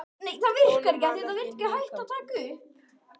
Honum varð ekki hnikað.